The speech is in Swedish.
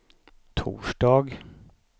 torsdag